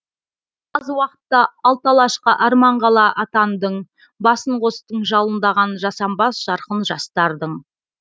аз уақытта алты алашқа арман қала атандың басын қостың жалындаған жасампаз жарқын жастардың